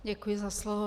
Děkuji za slovo.